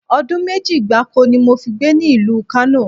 Odun meji gbáko ni mo fi gbé ní ìlú Kano